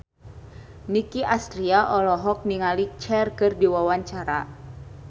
Nicky Astria olohok ningali Cher keur diwawancara